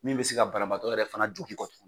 Min bɛ se ka banabaatɔ yɛrɛ fana jogin